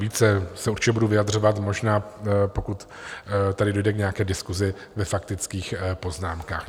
Více se určitě budu vyjadřovat možná, pokud tady dojde k nějaké diskusi ve faktických poznámkách.